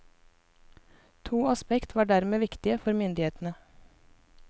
To aspekt var dermed viktige for myndighetene.